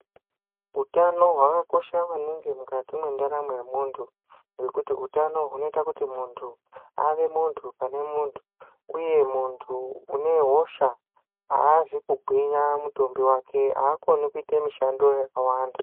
Utano hwakakosha maningi mukati mwendaramo yemuntu ngekuti utano hunoita kuti muntu ave muntu pane muntu uye muntu une hosha haazi kugwinya mutumbi wake. Haakoni kuite mishando yakawanda.